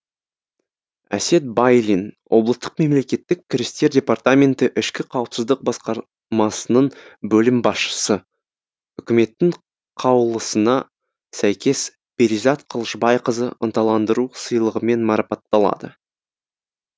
әсет байлин облыстық мемлекеттік кірістер департаменті ішкі қауіпсіздік басқармасының бөлім басшысы үкіметтің қаулысына сәйкес перизат қылышбайқызы ынталандыру сыйлығымен марапатталады